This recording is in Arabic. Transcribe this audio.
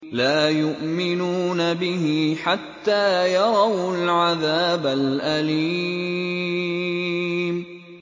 لَا يُؤْمِنُونَ بِهِ حَتَّىٰ يَرَوُا الْعَذَابَ الْأَلِيمَ